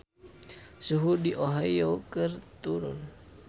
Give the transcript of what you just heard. Suhu di Ohio keur turun